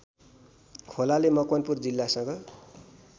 खोलाले मकवानपुर जिल्लासँग